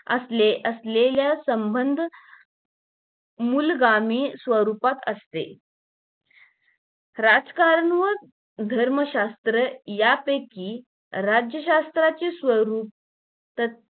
असले असलेल्या संबंध मूलगामी स्वरूपात असते राजकारण व धर्मशास्त्र यापैकी राज्यशास्त्राचे स्वरूप त